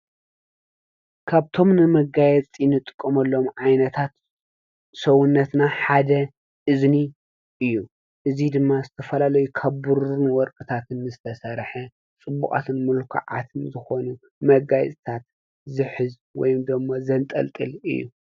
ካብቶም ንመጋየፂ ንጥቀመሎም ዓይነታት ሰውነትና ሓደ እዝኒ እዩ ። እዚ ድማ ዝተፈላለዩ ካብ ብሩርን ወርቅታትን ዝተሰርሐ ፅቡቃትን ምልኩዓትን ዝኾኑ መጋየፅታት ዝሕዝ ወይ ድማ ዘንጠልጥል እዩ።